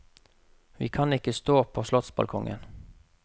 Vi kan ikke stå på slottsbalkongen.